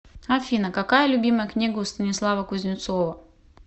афина какая любимая книга у станислава кузнецова